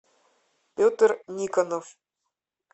петр никонов